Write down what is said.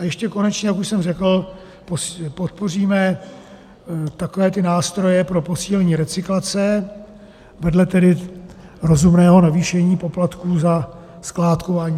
A ještě konečně, jak už jsem řekl, podpoříme takové ty nástroje pro posílení recyklace vedle tedy rozumného navýšení poplatků za skládkování.